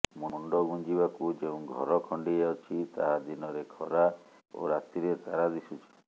ମୁଣ୍ଡ ଗୁଂଜିବାକୁ ଯେଉଁ ଘର ଖଣ୍ଡିଏ ଅଛି ତାହା ଦିନରେ ଖରା ଓ ରାତିରେ ତାରା ଦିଶୁଛି